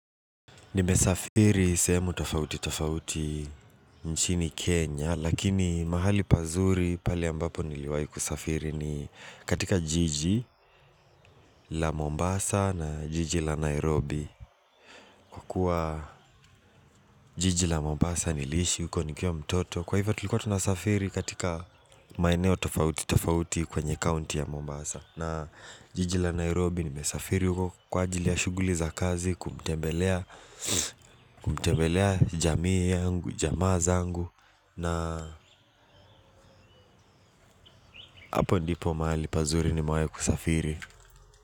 Nimesafiri sehemu tofauti tofauti nchini Kenya Lakini mahali pazuri pale ambapo niliwahi kusafiri ni katika jiji la Mombasa na jiji la Nairobi Kwa jiji la Mombasa niliishi uko nikiwa mtoto Kwa hivyo tulikuwa tunasafiri katika maeneo tofauti tofauti kwenye county ya Mombasa na jiji la Nairobi nimesafiri huko kwa ajili ya shuguli za kazi, kumtembelea jamii yangu, jamaa zangu na hapo ndipo mahali pazuri nimewahi kusafiri.